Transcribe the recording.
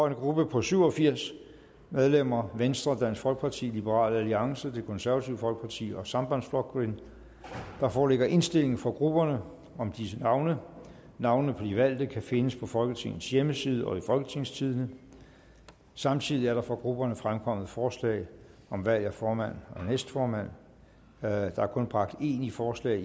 en gruppe på syv og firs medlemmer venstre dansk folkeparti liberal alliance det konservative folkeparti og sambandsflokkurin der foreligger indstilling fra grupperne om disse navne navnene på de valgte kan findes på folketingets hjemmeside og i folketingstidende samtidig er der fra grupperne fremkommet forslag om valg af formand og næstformand der er kun bragt én i forslag